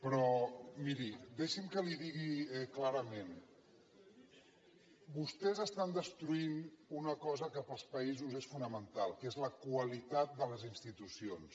però miri deixi’m que li ho digui clarament vostès estan destruint una cosa que per als països és fonamental que és la qualitat de les institucions